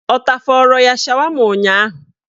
Ọ tafọrọ ya shawama ụnyaahụ?